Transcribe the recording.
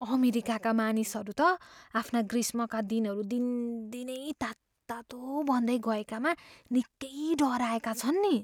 अमेरिकाका मानिसहरू त आफ्ना ग्रीष्मका दिनहरू दिनदिनै तात्तातो बन्दै गएकामा निकै डराएका छन् नि।